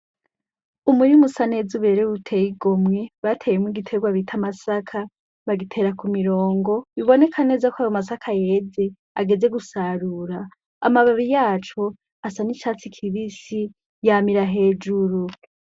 Umurimusa neza uberewe uteyigomwe bateyemwo igiterwa bita amasaka bagitera ku mirongo biboneka neza ko ayo masaka yeze ageze gusarura amababi yaco asa n'icatsi kibisi yamira hejuru.